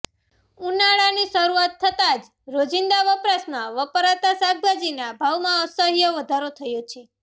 ઉનાળાની શરૂઆત થતા જ રોજીંદા વપરાશમાં વપરાતા શાકભાજીના ભાવમાં અસહ્ય વધારો થયો છે